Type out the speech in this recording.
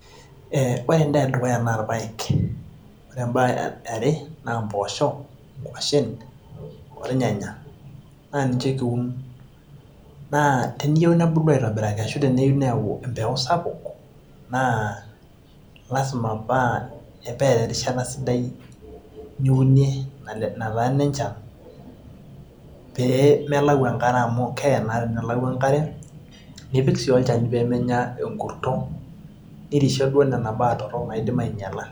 eh, ore endaa edukuya naa irpayek ore embae eare naa impoosho, inkuashen ornyanya naa ninche kiun naa teniyieu nebulu aitobiraki ashu teneyieu neyau empeku sapuk naa lasima paa, peeta erishata sidai niunie netana enenchan pee melau enkare amu keye naa tenelau enkare nipik sii olchani peemenya enkurto nirishe naa nena baa torrok naidim ainyiala.